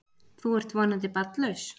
Þú ert þó vonandi barnlaus?